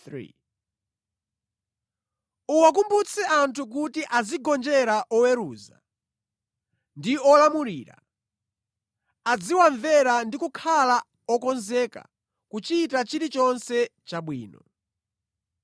Uwakumbutse anthu kuti azigonjera oweruza ndi olamulira, aziwamvera ndi kukhala okonzeka kuchita chilichonse chabwino.